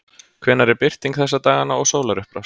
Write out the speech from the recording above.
hvenær er birting þessa dagana og sólarupprás